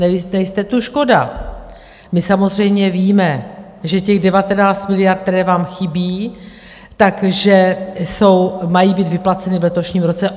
nejste tu, škoda - my samozřejmě víme, že těch 19 miliard, které vám chybí, že mají být vyplaceny v letošním roce.